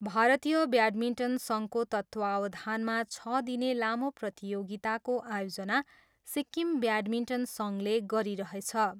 भारतीय ब्याडमिन्टन सङ्घको तत्त्वावधानमा छ दिने लामो प्रतियोगिताको आयोजना सिक्किम ब्याडमिन्टन सङ्घले गरिरहेछ।